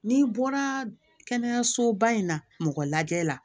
N'i bɔra kɛnɛyasoba in na mɔgɔ lajɛ la